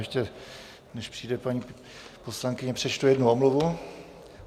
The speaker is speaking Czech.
Ještě než přijde paní poslankyně, přečtu jednu omluvu.